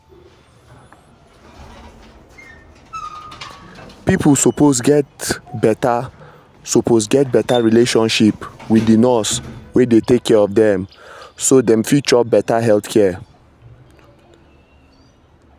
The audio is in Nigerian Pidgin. people suppose get better suppose get better relationship wit di nurse wey dey take care of dem so dem fit chop better health care.